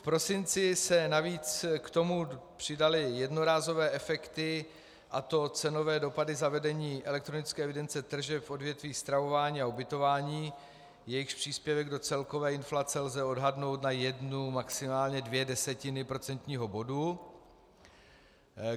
V prosinci se navíc k tomu přidaly jednorázové efekty, a to cenové dopady zavedení elektronické evidence tržeb v odvětví stravování a ubytování, jejichž příspěvek do celkové inflace lze odhadnout na jednu, maximálně dvě desetiny procentního bodu.